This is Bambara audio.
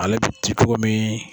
Ale bi di cogo min.